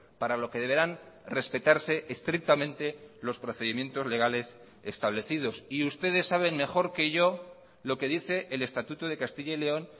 para lo que deberán respetarse estrictamente los procedimientos legales establecidos y ustedes saben mejor que yo lo que dice el estatuto de castilla y león